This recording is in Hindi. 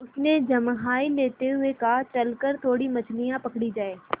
उसने जम्हाई लेते हुए कहा चल कर थोड़ी मछलियाँ पकड़ी जाएँ